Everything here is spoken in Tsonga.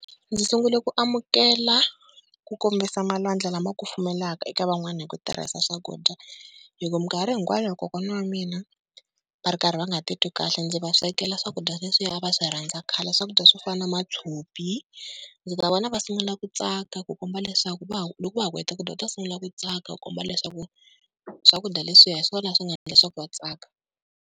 Ndzi sungule ku amukela ku kombisa malwandla lama kufumelaka eka van'wana hi ku tirhisa swakudya. Hi ku minkarhi hinkwayo kokwana wa mina va ri karhi va nga titwi kahle ndzi va swekela swakudya leswiya a va swi rhandza khale, swakudya swo fana na matshopi. Ndzi ta vona va sungula ku tsaka ku komba leswaku va, loko va ha ku heta ku dya va ta sungula ku tsaka, ku komba leswaku swakudya leswiya hi swona swi nga endla leswaku va tsaka.